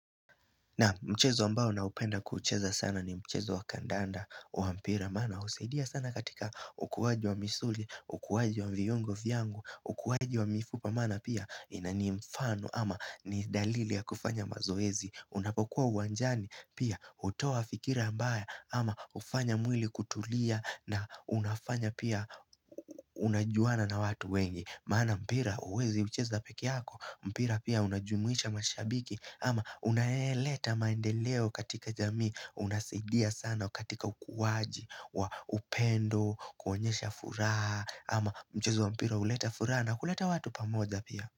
Naam mchezo ambao naupenda kuucheza sana ni mchezo wa kandanda wa mpira Maana husaidia sana katika ukuwaji wa misuli, ukuwaji wa vyungo vyangu, ukuwaji wa mifupa Maana pia ni mfano ama ni dalili ya kufanya mazoezi Unapokuwa uwanjani pia hutoa fikira mbaya ama hufanya mwili kutulia na unafanya pia unajuana na watu wengi Maana mpira huwezi ucheza pekee yako, mpira pia unajumuisha mashabiki ama unaeleta maendeleo katika jamii Unasidia sana katika ukuwaji wa upendo, kuonyesha furaha ama mchezo wa mpira huleta furaha na kuleta watu pamoja pia.